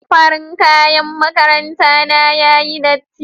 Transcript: Farin kaƴan maƙaranta na yaƴi ɗatti.